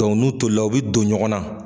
n'u tolila u bɛ don ɲɔgɔnna